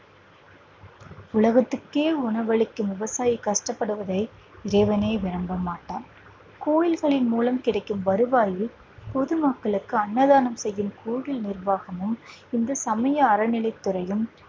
உலகத்திற்கே உணவளிக்கும் விவசாயி கஷ்டப்படுவதை இறைவனே விரும்ப மாட்டான் கோயில்களின் மூலம் கிடைக்கும் வருவாயில் பொதுமக்களுக்கு அன்னதானம் செய்யும் கோயில் நிர்வாகமும் இந்து சமய அறநிலை துறையும்